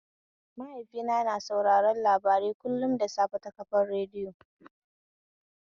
Mahaifina na sauraron labarai kullum da safe ta kafar radiyo.